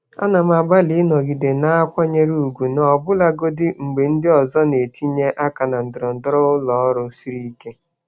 Ana m agbalị ịnọgide na-akwanyere ùgwù ọbụlagodi mgbe ndị ọzọ na-etinye aka na ndọrọndọrọ ụlọ ọrụ siri ike. ọrụ siri ike.